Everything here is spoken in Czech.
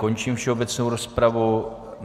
Končím všeobecnou rozpravu.